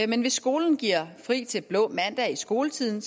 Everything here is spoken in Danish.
men hvis skolen giver fri til blå mandag i skoletiden